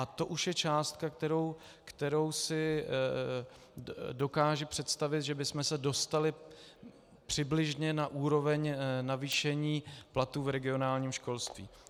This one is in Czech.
A to už je částka, kterou si dokážu představit, že bychom se dostali přibližně na úroveň navýšení platů v regionálním školství.